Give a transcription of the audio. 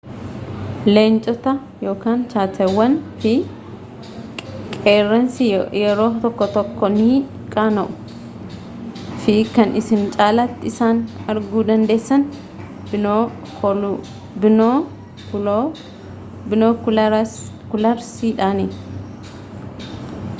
leencotaa cheetawwan fi qeerransi yeroo tokko tokkoo ni qaana'uu fi kan isin caalati isaan arguu dandeessan binokularsiidhani